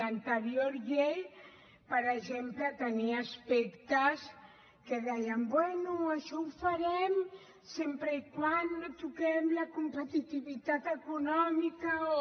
l’anterior llei per exemple tenia aspectes que deien bé això ho farem sempre que no toquem la competitivitat econòmica o